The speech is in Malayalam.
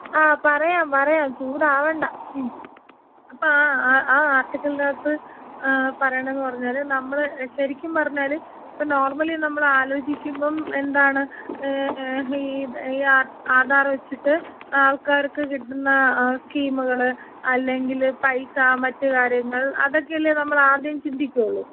ആ പറയാം പറയാം ചൂടാവണ്ട.അപ്പ ആ ആ ആർട്ടിക്കിളിനകത്ത് ഏ പറയണേന്ന് പറഞ്ഞാല് നമ്മള് ശെരിക്കും പറഞ്ഞാല് ഇപ്പെ നോർമലി നമ്മള് ആലോചിക്കുമ്പം എന്താണ് ഏ ഈ ആധാ ആധാറ് വെച്ചിട്ട് ആൾക്കാർക്ക് കിട്ടുന്ന സ്കീമുകള് അല്ലെങ്കില് പൈസ മറ്റു കാര്യങ്ങള് അതെക്കല്ലെ നമ്മൾ ആദ്യം ചിന്തിക്കൊള്ളു.